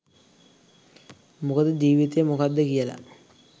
මොකද ජීවිතය මොකක්ද කියලා